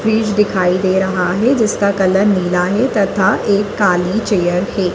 Fridge दिखाई दे रहा है जिसका कलर नीला है तथा एक काली चेयर है।